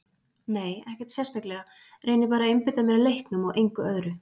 Nei ekkert sérstaklega, reyni bara að einbeita mér að leiknum og engu öðru.